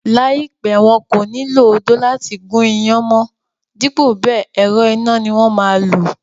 Láìpẹ́, wọn kò ní lo odó láti gún iyán mọ́n dípò bẹẹ̀, ẹ̀rọ iná ni wón máa lò.